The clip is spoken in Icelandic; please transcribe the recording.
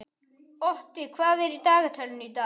Otti, hvað er í dagatalinu í dag?